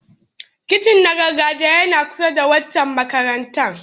Kitchen na gargajiya yana kusa da waccan makarantar.